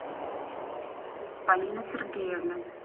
полина сергеевна